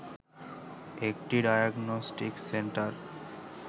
একটি diagnostic centre